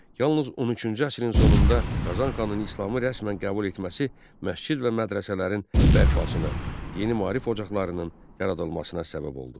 Yalnız 13-cü əsrin sonunda Qazan xanın İslamı rəsmən qəbul etməsi məscid və mədrəsələrin bərpasına, yeni maarif ocaqlarının yaradılmasına səbəb oldu.